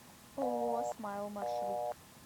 ооо смайл маршрут